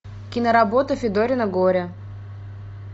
киноработа федорино горе